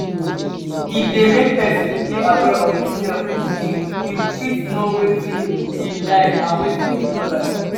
e de make persin de aware of imself im im fit know wetin im like and wetin im no like